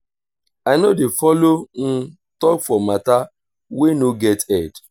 i no dey folo tok for mata wey no get head.